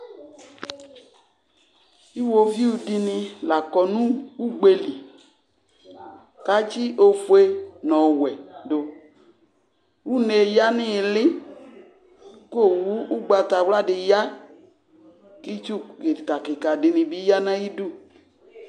Iɣoviu dɩnɩ la kɔ nʋ ugbe li kʋ atsɩ ofue nʋ ɔwɛ dʋ Une yǝ nʋ ɩɩlɩ kʋ owu ʋgbatawla dɩ ya kʋ itsu kɩka kɩka dɩnɩ bɩ ya nʋ ayidu